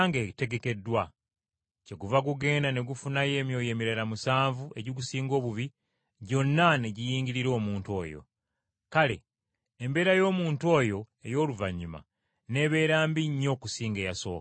Kyeguva gugenda ne gufunayo emyoyo emirala musanvu egigusingako obwonoonefu, ne giyingirira omuntu oyo. Kale embeera y’omuntu oyo ey’oluvannyuma n’ebeera mbi nnyo okusinga eyasooka.”